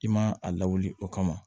I ma a lawuli o kama